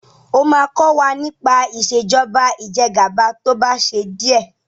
ọ má kò wá nipa Ìṣèjọba Ìjẹgàba tó bà ṣe diẹ!